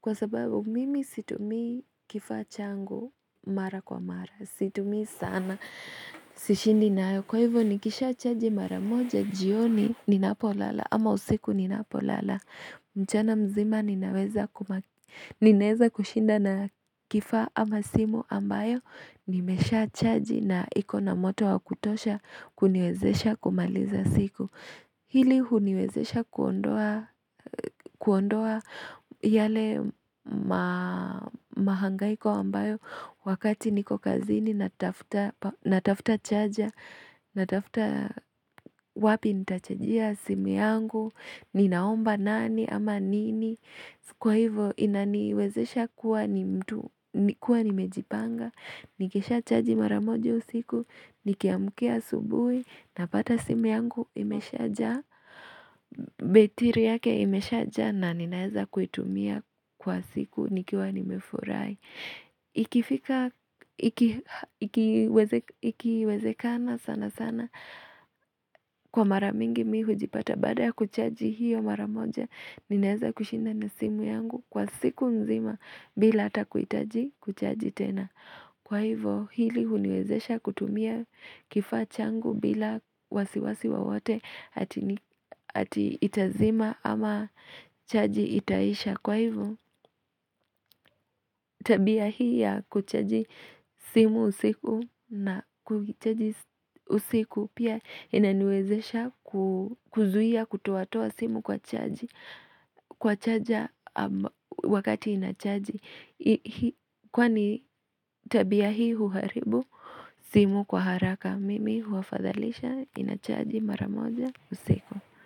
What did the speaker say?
Kwa sababu, mimi situmii kifaa changu mara kwa mara, situmii sana, sishindi nayo, kwa hivyo nikisha chaji mara moja, jioni ninapo lala, ama usiku ninapo lala. Mchana mzima ninaweza kushinda na kifaa ama simu ambayo nimeshaa chaji na iko na moto wa kutosha kuniwezesha kumaliza siku. Hili huniwezesha kuondoa yale mahangaiko ambayo wakati niko kazini natafuta chaja, natafuta wapi nitachajia simu yangu, ninaomba nani ama nini. Kwa hivo inaniwezesha kuwa ni mtu kuwa nimejipanga Nikisha chaji mara moja usiku Nikiamkia asubuhi Napata simu yangu imeshajaa Betiri yake imeshajaa na ninaeza kuitumia kwa siku nikiwa nimefurahi Ikifika, ikiwezekana sana sana Kwa mara mingi mimi hujipata Baada ya kuchaji hiyo mara moja Ninaeza kushinda na simu yangu kwa siku nzima bila hata kuhitaji kuchaji tena Kwa hivyo hili huniwezesha kutumia kifaa changu bila wasiwasi wowote ati itazima ama chaji itaisha Kwa hivyo tabia hii ya kuchaji simu usiku na kuichaji usiku pia inaniwezesha kuzuia kutoatoa simu kwa chaji Kwa chaja wakati ina chaji Kwani tabia hii huharibu simu kwa haraka mimi huafadhalisha ina chaji mara moja usiku.